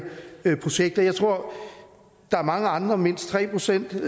projekt jeg tror der er mange andre mindst tre procent